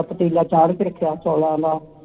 ਪਤੀਲਾ ਚਾੜ੍ਹ ਕੇ ਰਖਿਆ ਚੋਲਾ ਦਾ